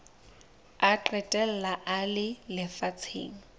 a qetella a le lefatsheng